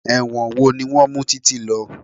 Ẹ̀wọ̀n wo ni wọn mú TíTí lọ?